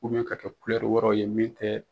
ka kɛ wɛrɛw ye min tɛ